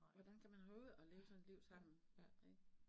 Hvordan kan man holde ud at leve sådan et liv sammen, ik